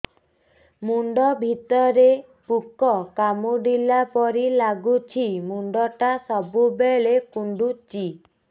ମୁଣ୍ଡ ଭିତରେ ପୁକ କାମୁଡ଼ିଲା ପରି ଲାଗୁଛି ମୁଣ୍ଡ ଟା ସବୁବେଳେ କୁଣ୍ଡୁଚି